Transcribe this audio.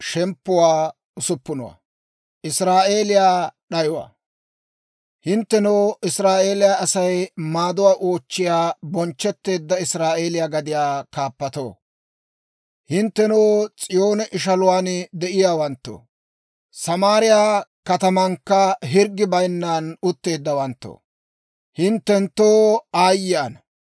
Hinttenoo, Israa'eeliyaa Asay maaduwaa oochchiyaa bonchchetteedda Israa'eeliyaa gadiyaa kaappatoo, hinttenoo, S'iyoonen ishaluwaan de'iyaawanttoo, Samaariyaa katamankka hirggi bayinnan utteeddawanttoo, hinttenttoo aayye ana!